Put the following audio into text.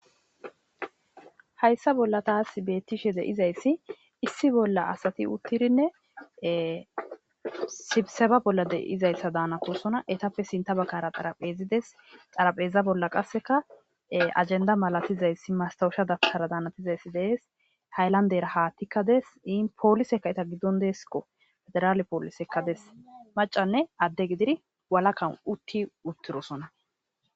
hayssa bolla taass bettishe deizayssi issi bolla asati uttirinne sibseba bolla deizayssa daanakosona etappe sinta bakara xarapheezides xarapheeza bolla qasseka ajenda malatizayssi mastawusha dagsara daanatizayssi dees taylanderaha tikkades in poolisekaeta giddon deesikko federaale poolisekka des macanne adde gidiri walakan utti uttirosona